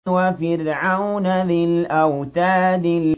وَفِرْعَوْنَ ذِي الْأَوْتَادِ